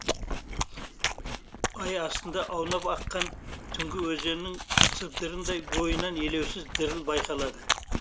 ай астында аунап аққан түнгі өзеннің сыбдырындай бойынан елеусіз діріл байқалады